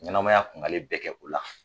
Ɲɛnamaya kun gale bɛɛ kɛ o la